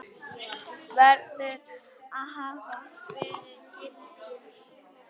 verður að hafa verið gildur.